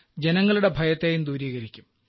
ജനങ്ങളുടെ ഭയത്തേയും ദൂരീകരിക്കും